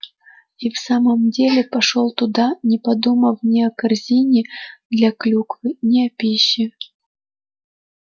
и в самом деле пошёл туда не подумав ни о корзине для клюквы ни о пище